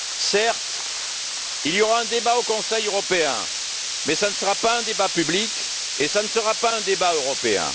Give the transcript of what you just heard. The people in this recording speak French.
Certes, il y aura un débat au Conseil européen, mais ce ne sera pas un débat public et ce ne sera un débat européen.